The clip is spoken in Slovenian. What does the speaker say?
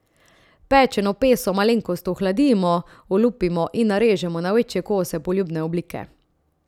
Pečeno peso malenkost ohladimo, olupimo in narežemo na večje kose poljubne oblike.